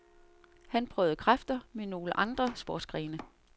Han prøvede kræfter med nogle andre sportsgrene.